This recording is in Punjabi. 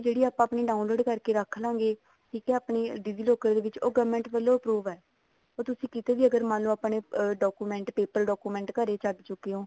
ਜਿਹੜੀ ਆਪਾਂ ਆਪਣੀ download ਕਰਕੇ ਰੱਖ ਲਵਾਂਗੇ digi locker ਦੇ ਵਿੱਚ ਉਹ government ਵੱਲੋਂ approved ਹੈ ਉਹ ਤੁਸੀਂ ਕਿਤੇ ਵੀ ਅਗਰ ਮੰਨਲੋ ਆਪਾਂ ਨੇ document paper document ਘਰੇ ਛੱਡ ਚੁੱਕੇ ਹੋ